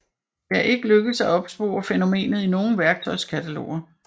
Det er ikke lykkedes at opspore fænomenet i nogen værktøjskataloger